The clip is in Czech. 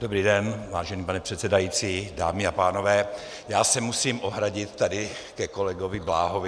Dobrý den, vážený pane předsedající, dámy a pánové, já se musím ohradit tady ke kolegovi Bláhovi.